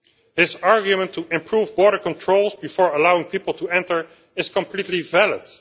This argument to improve border controls before allowing people to enter is completely valid.